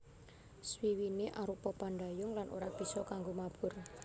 Swiwiné arupa pandhayung lan ora bisa kanggo mabur